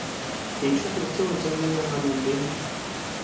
dithuto tšeo tša menagano di